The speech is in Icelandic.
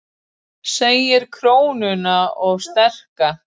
Segir krónuna of sterka